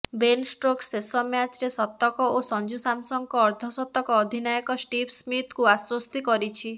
Ben Stokes ଶେଷ ମ୍ୟାଚରେ ଶତକ ଓ ସଞ୍ଜୁ ସାମସନଙ୍କ ଅର୍ଦ୍ଧଶତକ ଅଧିନାୟକ ଷ୍ଟିଭ୍ ସ୍ମିଥଙ୍କୁ ଆଶ୍ବସ୍ତି କରିଛି